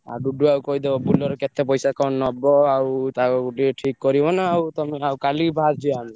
ଆଉ ଡୁଡୁଆ କୁ କହିଦବ କେତେ ପଇସା କଣ ନବ Bolero ଆଉ ତପକ୍ଷରୁ ଟିକେ ଠିକ୍ କରିବ ନାଁ ଆଉ। ହଉ ତାହେଲେ କାଲିକି ଭାରିଯିବା ଆମେ।